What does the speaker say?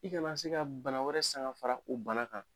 I kana se ka bana wɛrɛ sanga fara o bana kan.